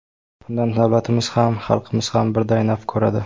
Bundan davlatimiz ham, xalqimiz ham birday naf ko‘radi.